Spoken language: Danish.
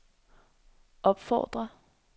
opfordrer